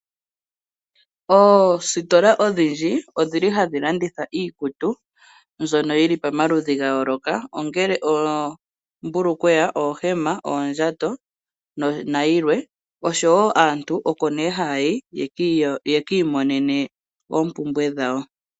Oositola odhindji ohadhi landitha iikutu . Mbyono yili pamaludhi ga yooloka. Ngaashi oombulukweya, ohema, oondjato nosho tuu . Aantu oko nee haya yi ye kiimonene oompumbwe dhawo.